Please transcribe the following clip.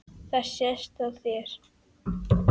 Það sést á þér